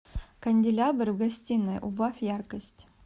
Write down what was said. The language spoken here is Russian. канделябр в гостиной убавь яркость